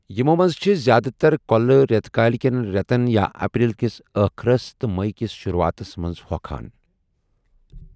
یِمَو منٛز چھِ زِیٛادٕ تَر كو٘لہٕ رٮ۪تہٕ کٲلہِ کٮ۪ن رٮ۪تَن یا اپریل کِس ٲخرَس تہٕ مئی کِس شروٗعاتَس منٛز ہۄکھان۔